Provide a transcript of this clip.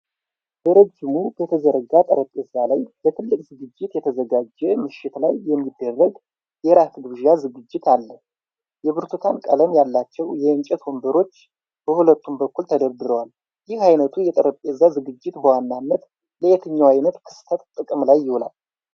በረጅሙ በተዘረጋ ጠረጴዛ ላይ ለትልቅ ዝግጅት የተዘጋጀ ምሽት ላይ የሚደረግ የራት ግብዣ ዝግጅት አል፤ የብርቱካን ቀለም ያላቸው የእንጨት ወንበሮች በሁለቱም በኩል ተደርድረዋል። ይህ ዓይነቱ የጠረጴዛ ዝግጅት በዋናነት ለየትኛው ዓይነት ክስተት ጥቅም ላይ ይውላል?